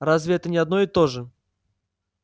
разве это не одно и то же